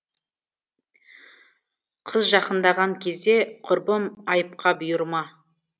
қыз жақындаған кезде құрбым айыпқа бұйырма